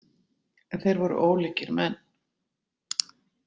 En þeir voru ólíkir menn.